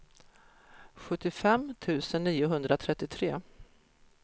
sjuttiofem tusen niohundratrettiotre